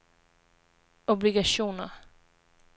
obligationer